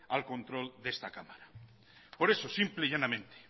al control de esta cámara por eso simple y llanamente